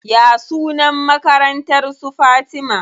Ya sunan makarantar su Fatima?